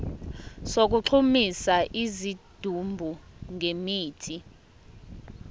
sokugqumisa isidumbu ngemithi